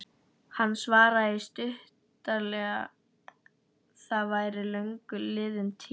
Hann svaraði því stuttaralega að það væri löngu liðin tíð.